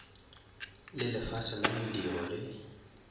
le lefase la mediro le